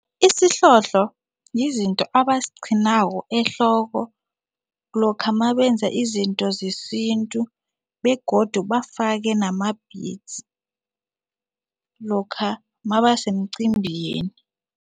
Isihlohlo yizinto abaziqhinako ehloko lokha mabenza izinto zesintu begodu bafake nama-beads lokha mabasemcimbini.